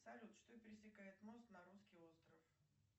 салют что пересекает мост на русский остров